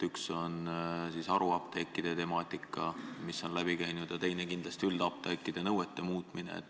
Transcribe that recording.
Üks on haruapteekide temaatika, mis on läbi käinud, ja teine on üldapteekide nõuete muutmine.